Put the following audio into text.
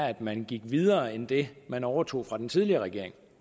at man gik videre end det man overtog fra den tidligere regering